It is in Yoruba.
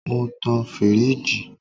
Mo tan firiji